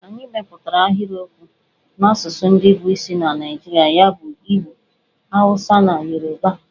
Anyị mepụtara ahịrịokwu n'asụsụ ndị bụ isi na Naijirịa ya bụ Igbo, Awụsa na Yoruba.